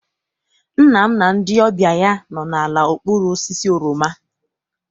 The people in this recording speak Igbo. Nna m na ndị ọbịa ya nọ ala n'okpuru osisi oroma.